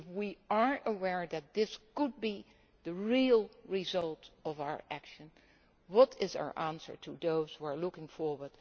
answer? If we are aware that this could be the real result of our actions, what is our answer to those who are looking